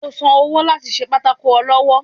o sán ọwọ latí sé pàtàkó olọwọ